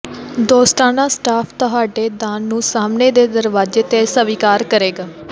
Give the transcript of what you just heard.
ਦੋਸਤਾਨਾ ਸਟਾਫ਼ ਤੁਹਾਡੇ ਦਾਨ ਨੂੰ ਸਾਹਮਣੇ ਦੇ ਦਰਵਾਜ਼ੇ ਤੇ ਸਵੀਕਾਰ ਕਰੇਗਾ